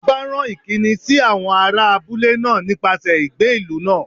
Ọba rán ìkíni sí àwọn ará abúlé náà nípasẹ̀ igbe ìlú náà